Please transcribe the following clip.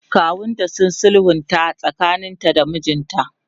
kawunta ya sulhunta tsakanin ta da mijinta